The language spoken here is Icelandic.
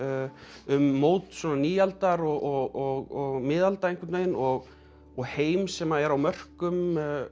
um mót nýaldar og miðalda einhvern veginn og og heim sem er á mörkum